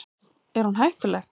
Er hún hættuleg?